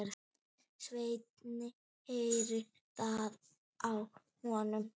Svenni heyrir það á honum.